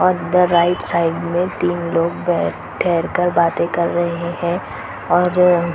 और इधर राइट-साइड मे तीन लोग बैठ कर बाते कर रहे है और--